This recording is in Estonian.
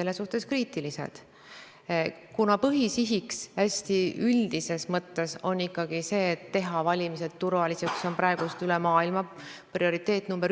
Kuna nõudlus on suur, siis peaks selleks olema riigieelarves ka piisavalt raha ette nähtud, aga kui vaadata 2019. aasta riigieelarve seaduse eelnõu seletuskirja, siis näeme, et selleks oli planeeritud 10 miljonit, kuid värskes 2020. aasta riigieelarve seaduse eelnõus on selleks ette nähtud 4,1 miljonit